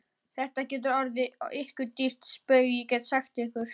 Þetta getur orðið ykkur dýrt spaug, get ég sagt ykkur!